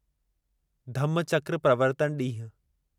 धम्मचक्र प्रवर्तन ॾींहुं